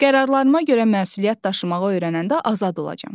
Qərarlarıma görə məsuliyyət daşımağı öyrənəndə azad olacam.